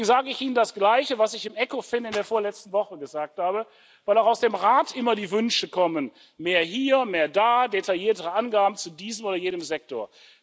Deswegen sage ich Ihnen das Gleiche, was ich in der vorletzten Woche im Ecofin gesagt habe, weil auch aus dem Rat immer die Wünsche kommen mehr hier, mehr da, detailliertere Angaben zu diesem oder jenem Sektor.